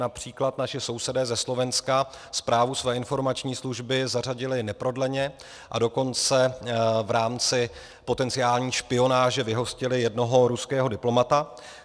Například naši sousedé ze Slovenska zprávu své informační služby zařadili neprodleně, a dokonce v rámci potenciální špionáže vyhostili jednoho ruského diplomata.